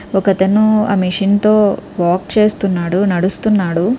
ఒకతను ఆ మెషిన్ తో వాక్ చేస్తున్నాడు నడుస్తున్నాడు --